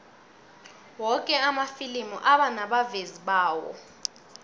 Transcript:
woke amafilimi anabavezi bawo